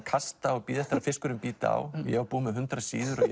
kasta og bíða eftir að fiskurinn bíti á ég var búinn með hundrað síður og